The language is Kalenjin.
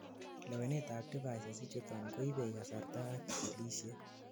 lewenetab devices ichuton koibei kasarta ak chikilishet